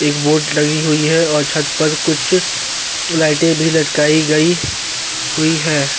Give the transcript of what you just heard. इक बोर्ड लगी हुई है और छत पर कुछ लाइटे भी लटकाई गयी हुई है ।